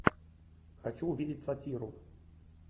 хочу увидеть сатиру